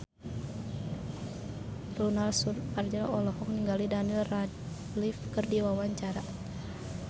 Ronal Surapradja olohok ningali Daniel Radcliffe keur diwawancara